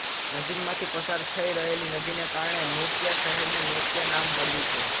નજીકમાંથી પસાર થઈ રહેલી નદીને કારણે નોકિયા શહેરને નોકિયા નામ મળ્યું છે